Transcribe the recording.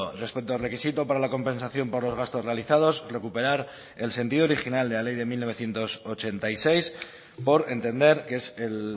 respecto al requisito para la compensación por los gastos realizados recuperar el sentido original de la ley de mil novecientos ochenta y seis por entender que es el